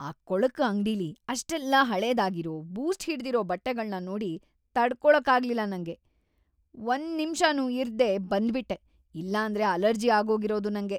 ಆ ಕೊಳಕು ಅಂಗ್ಡಿಲಿ ಅಷ್ಟೆಲ್ಲ ಹಳೇದಾಗಿರೋ, ಬೂಸ್ಟ್‌ ಹಿಡ್ದಿರೋ ಬಟ್ಟೆಗಳ್ನ ನೋಡಿ ತಡ್ಕೊಳಕ್ಕಾಗ್ಲಿಲ್ಲ ನಂಗೆ, ಒಂದ್ನಿಮ್ಷನೂ ಇರ್ದೇ ಬಂದ್ಬಿಟ್ಟೆ, ಇಲ್ಲಾಂದ್ರೆ ಅಲರ್ಜಿ ಆಗೋಗಿರೋದು ನಂಗೆ.